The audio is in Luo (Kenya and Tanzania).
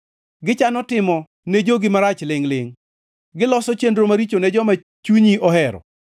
Gichano timo ne jogi marach lingʼ-lingʼ; giloso chenro maricho ne joma chunyi ohero.